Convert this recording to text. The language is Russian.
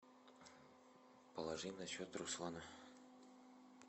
положи на счет руслана